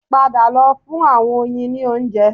Padà lọ fún àwọn oyin ní oúnjẹ